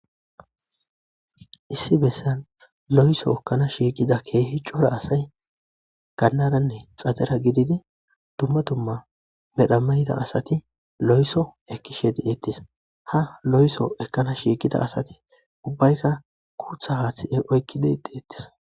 Issi bessan lohiso ekana shiiqida keehi cora asay gannaranne xadera giddidi dumma dumma mera mayida asati lohiso ekishe dettes. Ha lohiso ekana shiiqida asati ubbayikka guutha haathi oyikki deettis.